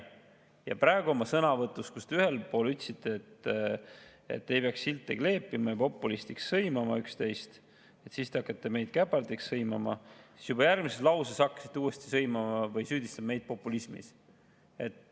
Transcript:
Ja praegu oma sõnavõtus te algul ütlesite, et ei peaks silte kleepima ja populistiks sõimama üksteist, siis aga hakkasite meid käpardiks sõimama ja juba järgmises lõigus hakkasite uuesti süüdistama meid populismis.